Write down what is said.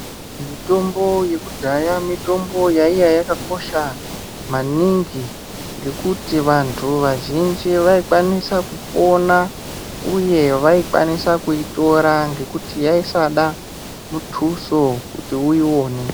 Mitombo yekudhaya mitombo yaiya yakakosha maningi ngekuti vantu vazhinji vaikwanisa kupona uye vaikwanisa kuitora ngekuti yaisada mutusu kuti uiwone.